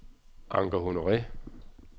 Anker Honore